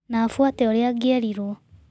Na afuate ũrĩa angĩerirwo.